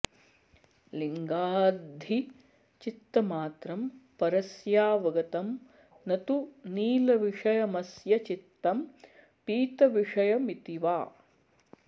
लिङ्गाद्धि चित्तमात्रं परस्यावगतं न तु नीलविषयमस्य चित्तं पीतविषयमिति वा